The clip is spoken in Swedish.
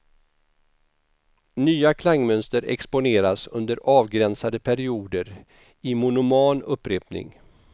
Nya klangmönster exponeras under avgränsade perioder i monoman upprepning.